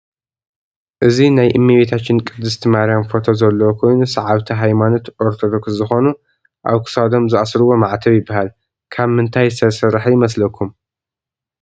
እዚ ናይ እመቤታችን ቅድስቲ ማርያም ፎቶ ዘለዎ ኮይኑ ሰዓብቲ ሃይማኖት ኦርቶደኩስ ዝኾኑ አብ ክሳዶም ዝአስርዎ ማዕተብ ይበሃል። ካብ ምንታይ ዝተሰርሐ ይመስለኩም?